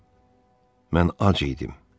Mən, mən ac idim.